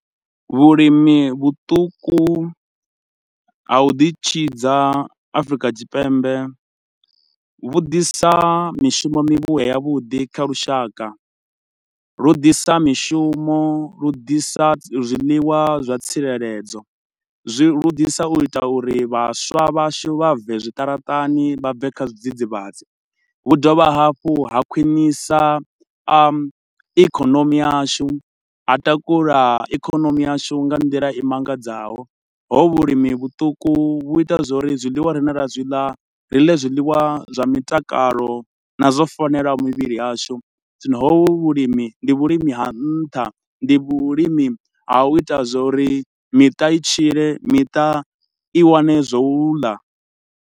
Vhulimi vhuṱuku ha u ḓi tshidza Afrika Tshipembe, vhu ḓisa mishumo mivhuya ya vhuḓi kha lushaka. Lu ḓisa mishumo, lu ḓisa zwiḽiwa zwa tsireledzo. Zwi vhudisa u ita uri vhaswa vhashu vha bve zwiṱaraṱani, vha bve kha zwidzidzivhadzi. Vhu dovha hafhu ha khwinisa a ikonomi yashu, ha takula ikonomi yashu nga nḓila i mangadzaho. Hovhu vhulimi vhuṱuku vhu ita zwauri zwiḽiwa rine ra zwi ḽa ri ḽe zwiḽiwa zwa mitakalo na zwo fanelaho mivhili yashu, zwino hovhu vhulimi, ndi vhulimi ha nṱha ndi vhulimi ha u ita zwa uri miṱa i tshile miṱa i wane zwa u ḽa.